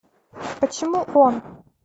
почему он